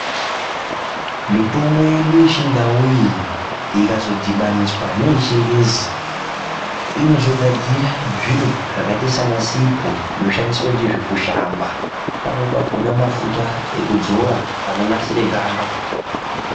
Mitombo yedu ye chindau iyi ikazo dhibaniswa neye chingezi inozo gadzira zviro zvakaita se ana sipo zvino shandiswa ndizvo kushamba pamweni pakona mafuta eku dzora ano nasire ganda.